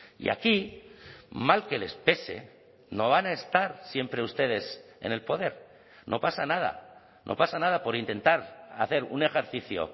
y aquí mal que les pese no van a estar siempre ustedes en el poder no pasa nada no pasa nada por intentar hacer un ejercicio